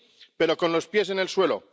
sí, pero con los pies en el suelo.